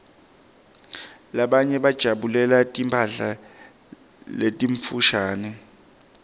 labanye bajabulela timphala letimfushane